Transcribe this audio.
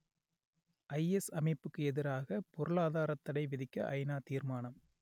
IS அமைப்புக்கு எதிராக பொருளாதாரத் தடை விதிக்க ஐநா தீர்மானம்